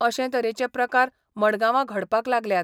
अशें तरेचें प्रकार मडगांवां घडपाक लागल्यात.